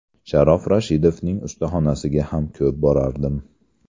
Sharof Rashidovning ustaxonasiga ham ko‘p borardim.